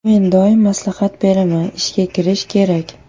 Men doim maslahat beraman, ishga kirish kerak.